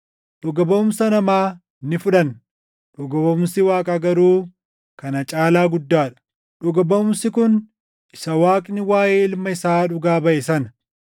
Dhuga baʼumsa namaa ni fudhanna; dhuga baʼumsi Waaqaa garuu kana caalaa guddaa dha; dhuga baʼumsi kun isa Waaqni waaʼee Ilma isaa dhugaa baʼe sana.